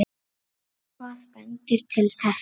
Hvað bendir til þess?